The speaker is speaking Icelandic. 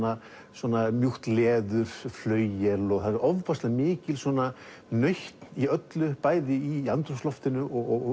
svona mjúkt leður flauel og það er ofboðslega mikil nautn í öllu bæði í andrúmsloftinu og